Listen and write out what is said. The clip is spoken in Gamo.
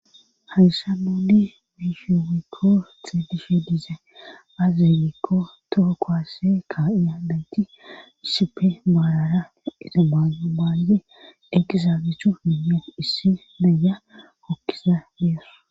Hayssan nuuni be'ishe woykko xeelishe dizay aaze giikko toho kuwase ka'ya naati issippe pala lo'iza mayo maizi issippe eqqizaaageti issi nayiya hokiza de'awus.